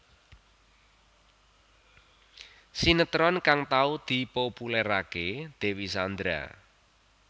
Sinetron kang tau dipopuléraké Dewi Sandra